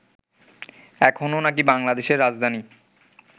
এখনো নাকি বাংলাদেশের রাজধানী